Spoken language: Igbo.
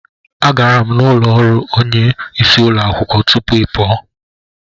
Agara m n'ụlọ ọrụ onyeisi ụlọ akwụkwọ tupu ị pụọ.